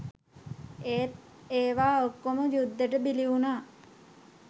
ඒත් ඒවා ඔක්කොම යුද්දෙට බිලි වුණා.